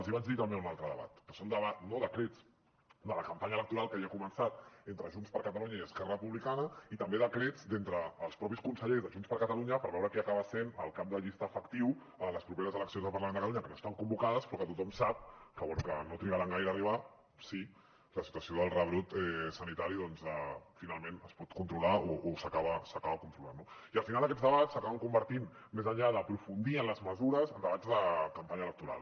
els vaig dir també en un altre debat que són debats no decrets de la campanya electoral que ja ha començat entre junts per catalunya i esquerra republicana i també decrets d’entre els mateixos consellers de junts per catalunya per veure qui acaba sent el cap de llista efectiu a les properes eleccions al parlament de catalunya que no estan convocades però que tothom sap que no trigaran gaire a arribar si la situació del rebrot sanitari finalment es pot controlar o s’acaba controlant no i al final aquests debats s’acaben convertint més enllà d’aprofundir en les mesures en debats de campanya electoral